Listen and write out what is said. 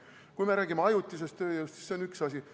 Kui me räägime ajutisest tööjõust, siis see on üks asi.